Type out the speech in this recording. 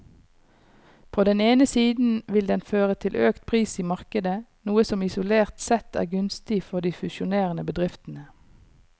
På den ene siden vil den føre til økt pris i markedet, noe som isolert sett er gunstig for de fusjonerende bedriftene.